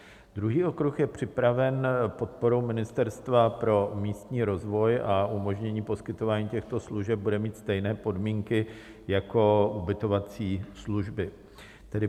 Druhý okruh je připraven podporou Ministerstva pro místní rozvoj a umožnění poskytování těchto služeb bude mít stejné podmínky jako ubytovací služby.